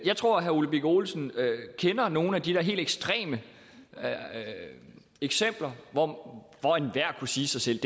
jeg tror herre ole birk olesen kender nogle af de der helt ekstreme eksempler hvor enhver kunne sige sig selv